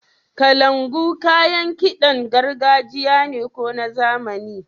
Kalangu kayan kiɗan gargajiya ne ko na zamani? --